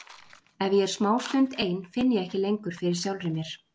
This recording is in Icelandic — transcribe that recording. Ef ég er smástund ein finn ég ekki lengur fyrir sjálfri mér.